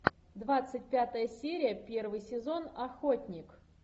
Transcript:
двадцать пятая серия первый сезон охотник